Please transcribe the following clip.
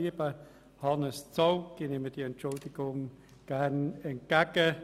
Lieber Hannes Zaugg, ich nehme die Entschuldigung gerne entgegen.